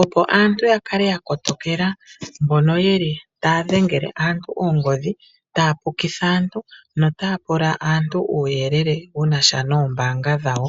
opo aantu ya kale ya kotokela mbono yeli taya dhengele aantu oongodhi, taya pukitha aantu notaya pula aantu uuyelele wu na sha noombaanga dhawo.